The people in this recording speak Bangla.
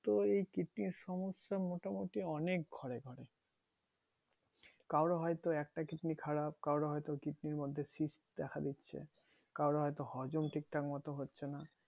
তো এই কিডনির সমস্যা মোটামোটি অনেক ঘরে ঘরে কারো হয়তো একটা কিডনি খারাপ কারো হয়তো কিডনির মধ্যে cyst দেখা দিচ্ছে কারো হয়তো হজম ঠিক ঠাক হচ্ছে না